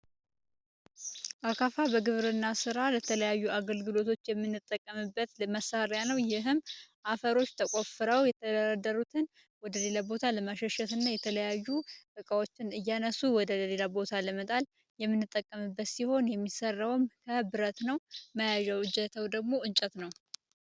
አካፋ ለግብርና ስራ ለተለያዩ አገልግሎት የምንጠቀምበት መሳሪያ ነው ይህም አፈር ተቋፍረው የተደለደሉትን ወደ ሌላ ቦታ ለማሸነፍና የተለያዩ እቃዎችን ከአንድ ቦታ አንስቶ ወደ ሌላ ለመጣል የምንጠቀምበት ሲሆን የሚሰራውን ከብረት ነው። መያዣው እጀታው ደግሞ እንጨት ነው።